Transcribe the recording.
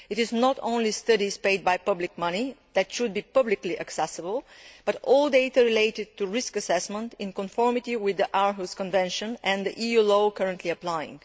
It is not only studies paid by public money that should be publicly accessible, but all data related to risk assessment, in conformity with the Aarhus Convention and the EU law currently applying.